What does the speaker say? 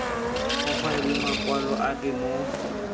go faelwe makwalo ape mo